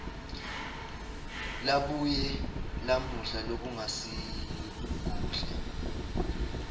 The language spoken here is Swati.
labuye lamela lokungasikuhle